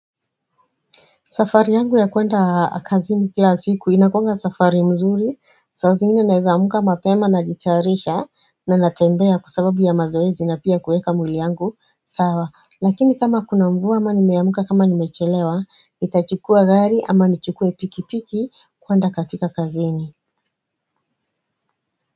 Safari yangu ya kuenda kazini kila siku inakuanga safari mzuri saa zingine naeza amka mapema najitayarisha na natembea kwasababu ya mazoezi na pia kuweka mwili yangu sawa lakini kama kunamvua ama nimeauka kama nimechelewa nItachukua gari ama nichukue piki piki kuenda katika kazini.